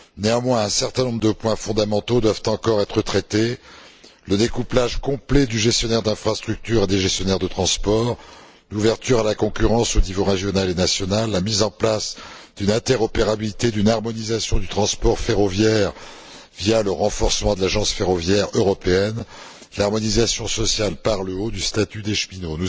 Néanmoins, un certain nombre de points fondamentaux doivent encore être traités le découplage complet du gestionnaire d'infrastructure des gestionnaires de transports, l'ouverture à la concurrence aux niveaux régional et national, la mise en place d'une interopérabilité, d'une harmonisation du transport ferroviaire via le renforcement de l'agence ferroviaire européenne, l'harmonisation sociale par le haut du statut des cheminots.